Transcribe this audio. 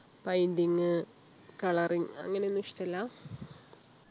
painting coloring അങ്ങനെയൊന്നും ഇഷ്ടല്ല